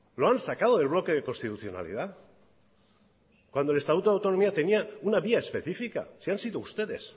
lo han sacado del bloque de constitucionalidad cuando el estatuto de autonomía tenía una vía especifica si han sido ustedes